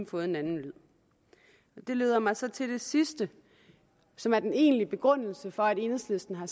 fået en anden lyd det leder mig så til det sidste som er den egentlige begrundelse for at enhedslisten har